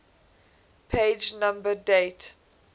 page number date